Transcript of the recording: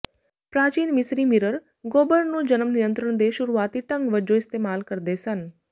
ਪ੍ਰਾਚੀਨ ਮਿਸਰੀ ਮਿਰਰ ਗੋਬਰ ਨੂੰ ਜਨਮ ਨਿਯੰਤਰਣ ਦੇ ਸ਼ੁਰੂਆਤੀ ਢੰਗ ਵਜੋਂ ਇਸਤੇਮਾਲ ਕਰਦੇ ਸਨ